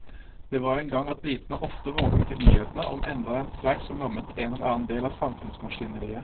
Det var en gang at britene ofte våknet til nyhetene om enda en streik som lammet en eller annen del av samfunnsmaskineriet.